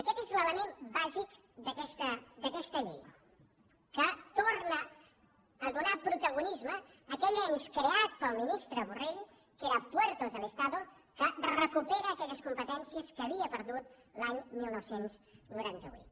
aquest és l’element bàsic d’aquesta llei que torna a donar protagonisme a aquell ens creat pel ministre borrell que era puertos del estado que recupera aquelles competències que havia perdut l’any dinou noranta vuit